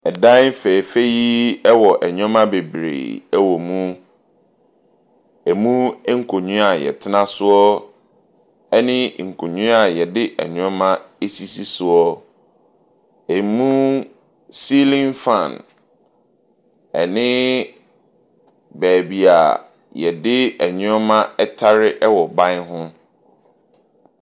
Ɛdan fɛfɛɛfɛ yi wɔ nneɛma be bree wɔ mu. Emu nkonnwa a yɛtena so ne nkonnwa a yɛde nneɛma sisi soɔ. Emu sealing fan ne baabi yɛde nnoɔma ɛtare wɔ ban ho.